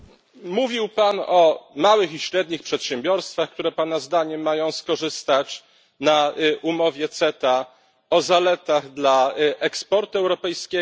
Mówił Pan o małych i średnich przedsiębiorstwach, które Pana zdaniem mają skorzystać na umowie CETA, o zaletach dla eksportu europejskiego.